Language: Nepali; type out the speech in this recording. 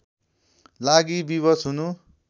लागि विवश हुनु